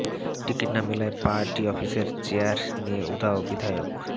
ticket না মেলায় party অফিসের চেয়ার নিয়ে উধাও বিধায়ক